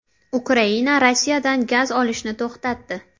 Ukraina Rossiyadan gaz olishni to‘xtatdi.